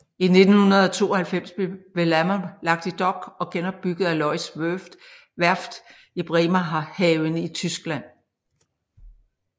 I 1992 blev Wellamo lagt i dok og genopbygget af Lloyds Werft i Bremerhaven i Tyskland